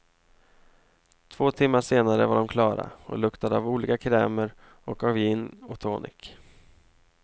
Två timmar senare var de klara och luktade av olika krämer och av gin och tonic.